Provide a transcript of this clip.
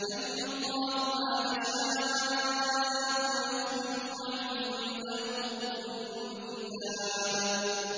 يَمْحُو اللَّهُ مَا يَشَاءُ وَيُثْبِتُ ۖ وَعِندَهُ أُمُّ الْكِتَابِ